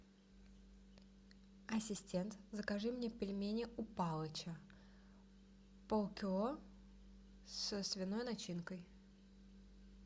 ассистент закажи мне пельмени у палыча полкило со свиной начинкой